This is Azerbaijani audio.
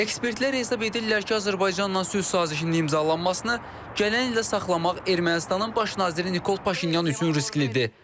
Ekspertlər hesab edirlər ki, Azərbaycanla sülh sazişinin imzalanmasını gələn ilə saxlamaq Ermənistanın Baş naziri Nikol Paşinyan üçün risklidir.